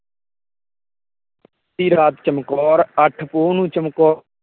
ਦੀ ਰਾਤ ਚਮਕੌਰ ਅੱਠ ਪੋਹ ਦੀ ਰਾਤ ਚਮਕੌਰ